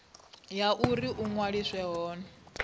ya uri u ṅwaliswa hone